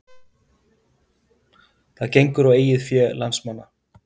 Það gengur á eigið fé landsmanna